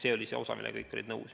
See oli see osa, millega kõik olid nõus.